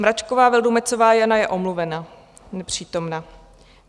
Mračková Vildumetzová Jana: Je omluvena, nepřítomna.